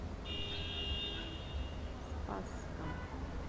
спасском